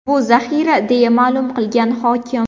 Bu zaxira”, deya ma’lum qilgan hokim.